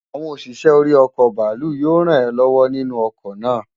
Awon osise̩ ori o̩kò̩ bàálù yío ràn é ló̩wó̩ nínú o̩kò̩ náà.